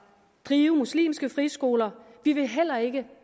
drive muslimske friskoler og vi vil heller ikke